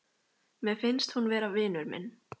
Mér finnst hún vera vinur minn.